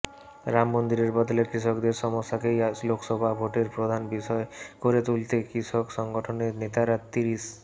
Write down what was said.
রামমন্দিরের বদলে কৃষকদের সমস্যাকেই লোকসভা ভোটের প্রধান বিষয় করে তুলতে কৃষক সংগঠনের নেতারা তিরিশ